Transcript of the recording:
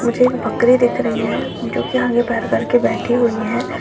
मुझे एक बकरी दिख रही है जो की आगे पैर करके बैठी हुई है।